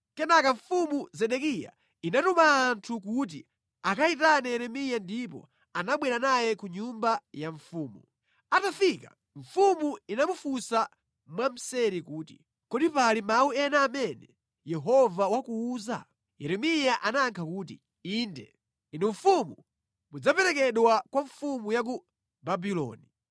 Kenaka Mfumu Zedekiya inatuma anthu kuti akayitane Yeremiya ndipo anabwera naye ku nyumba ya mfumu. Atafika mfumu inamufunsa mwamseri kuti, “Kodi pali mawu ena amene Yehova wakuwuza?” Yeremiya anayankha kuti, “Inde. Inu mfumu mudzaperekedwa kwa mfumu ya ku Babuloni.”